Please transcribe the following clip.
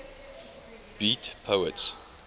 beat poets